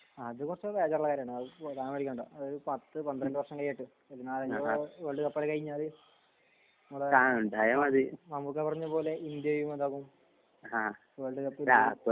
അതിനെ കുറിച്ച് ബേജാറാവണ്ട. അതിപ്പോ അതായത് പത്ത് പന്ത്രണ്ട് വർഷം കെയ്യട്ടെ. എന്നാൽ വേൾഡ് കപ്പൊക്കെ കഴിഞ്ഞാല് മമ്മൂക്ക പറഞ്ഞ പോലെ ഇന്ത്യയും എന്താകും വേൾഡ് കപ്പിൽ കേറും.